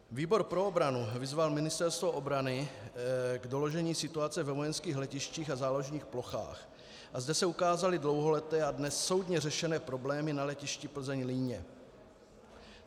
Výbor pro obranu vyzval Ministerstvo obrany k doložení situace ve vojenských letištích a záložních plochách a zde se ukázaly dlouholeté a dnes soudně řešené problémy na letišti Plzeň-Líně.